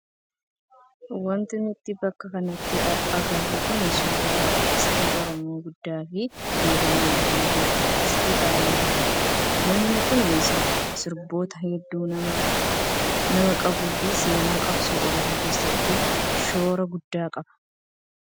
Wanti nuti bakka kanatti agarru kun suuraa artistii oromoo guddaa fi beekamaa kan ta'e artistii Alii Birraati. Namni kun sirboota hedduu nama qabuu fi seenaa qabsoo oromoo keessatti shoora guddaa qaba.